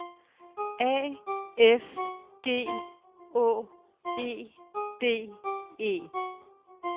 A F G Å E D E